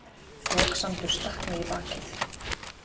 Foksandur stakk mig í bakið.